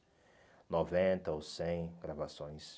noventa ou cem gravações.